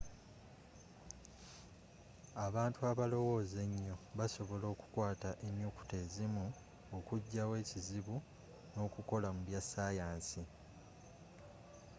abantu abalowooza ennyo, basobola okukwata ennyukuta ezimu, okujja wo ekizibu n’okukola mu bya sayansi